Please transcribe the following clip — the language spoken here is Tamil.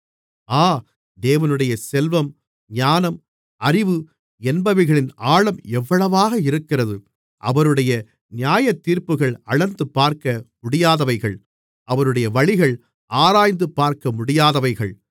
ஆ தேவனுடைய செல்வம் ஞானம் அறிவு என்பவைகளின் ஆழம் எவ்வளவாக இருக்கிறது அவருடைய நியாயத்தீர்ப்புகள் அளந்துபார்க்க முடியாதவைகள் அவருடைய வழிகள் ஆராய்ந்துபார்க்க முடியாதவைகள்